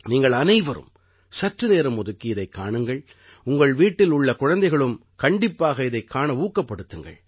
நீங்கள் அனைவரும் சற்று நேரம் ஒதுக்கி இதைக் காணுங்கள் உங்கள் வீட்டில் உள்ள குழைந்தைகளும் கண்டிப்பாக இதைக் காண ஊக்கப்படுத்துங்கள்